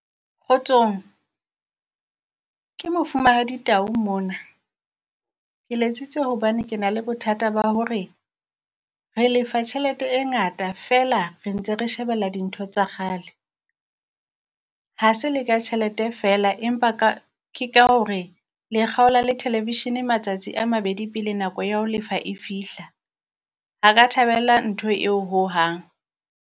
Kgotsong ke Mofumahadi Tau mona, ke letsitse hobane ke na le bothata ba hore re lefa tjhelete e ngata feela re ntse re shebella dintho tsa kgale. Ha se le ka tjhelete feela empa ka ke ka hore le kgaola le thelevishene matsatsi a mabedi pele nako ya ho lefa e fihla, ha ka thabela ntho eo ho hang.